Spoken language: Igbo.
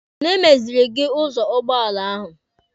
Onye meziri gị dọọlụ ụgbọala ahụ?